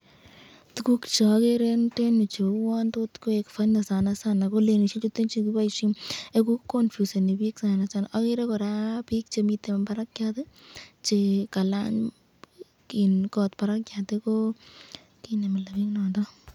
Tukuk cheagere eng yutenyu cheuon tot koek funny ko lanishek chuten chu chekiboisyen confuseni bik, agere kora bik chemiten barakyat chekalany kot barakyat ko mile bik.